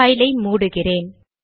file ஐ மூடுகிறேன்